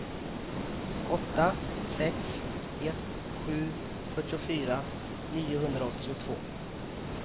åtta sex ett sju fyrtiofyra niohundraåttiotvå